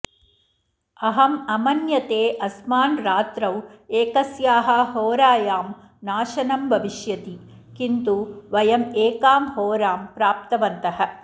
अहम् अमन्यते अस्मान् रात्रौ एकस्याः होरायां नाशनं भविष्यति किन्तु वयम् एकां होरां प्राप्तवन्तः